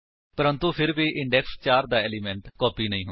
ਪ੍ਰੰਤੂ ਫਿਰ ਵੀ ਇੰਡੇਕਸ 4 ਦਾ ਏਲਿਮੇਂਟ ਕਾਪੀ ਨਹੀਂ ਹੁੰਦਾ ਹੈ